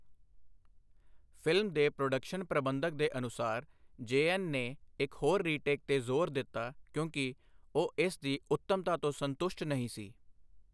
Film ਦੇ production ਪ੍ਰਬੰਧਕ ਦੇ ਅਨੁਸਾਰ, ਜੈਅਨ ਨੇ ਇੱਕ ਹੋਰ ਰੀਟੇਕ 'ਤੇ ਜ਼ੋਰ ਦਿੱਤਾ ਕਿਉਂਕਿ ਉਹ ਇਸ ਦੀ ਉੱਤਮਤਾ ਤੋਂ ਸੰਤੁਸ਼ਟ ਨਹੀਂ ਸੀ।